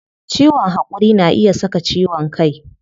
Ciwon hakuri na iya saka ciwon kai